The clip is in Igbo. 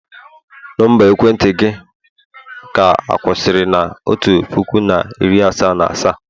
Nọmba ekwentị gị ka kwusiri na otu puku na iri asaa na asaa?